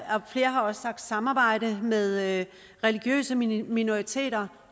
flere har også sagt samarbejde med religiøse minoriteter